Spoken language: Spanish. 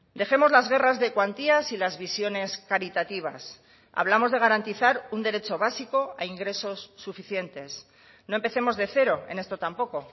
dejemos las guerras de cuantías y las visiones caritativas hablamos de garantizar un derecho básico a ingresos suficientes no empecemos de cero en esto tampoco